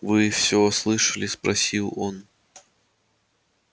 вы всё слышали спросил он